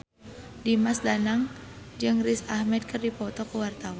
Dimas Danang jeung Riz Ahmed keur dipoto ku wartawan